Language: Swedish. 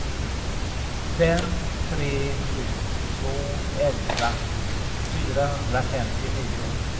fem tre sju två elva fyrahundrafemtionio